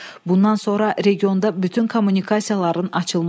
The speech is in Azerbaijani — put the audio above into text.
Bundan sonra regionda bütün kommunikasiyaların açılması.